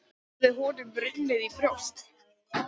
Hafði honum runnið í brjóst?